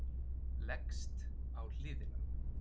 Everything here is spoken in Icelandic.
Leggst á hliðina.